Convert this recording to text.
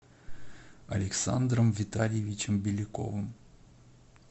александром витальевичем беляковым